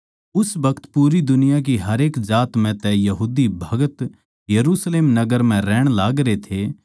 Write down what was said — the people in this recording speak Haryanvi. उस बखत पूरी दुनिया की हरेक जात म्ह तै यहूदीभगत यरुशलेम नगर म्ह रै रे थे